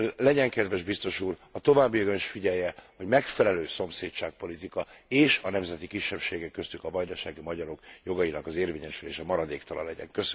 Legyen kedves Biztos Úr, a továbbiakban is figyelje, hogy megfelelő szomszédságpolitika, és a nemzeti kisebbségek, köztük a vajdasági magyarok jogainak az érvényesülése maradéktalan legyen.